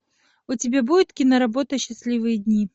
у тебя будет киноработа счастливые дни